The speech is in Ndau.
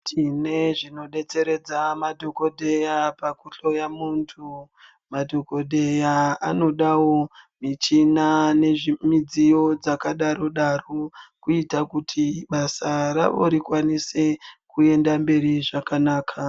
Tine zvinodetseredza madhokodheya pakuhloya muntu. Madhokodheya anodawo michina nemidziyo dzakadaro daro kuita kuti basa ravo rikwanise kuenda mberi zvakanaka.